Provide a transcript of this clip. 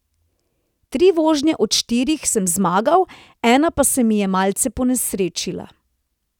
Tri vožnje od štirih sem zmagal, ena pa se mi je malce ponesrečila.